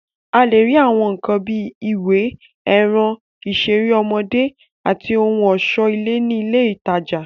A lè rí Àwọn nǹkan bíi ìwé, ẹran, ìṣeré ọmọdé, àti ohun ọ̀ṣọ́ ilé ní ilé ìtajà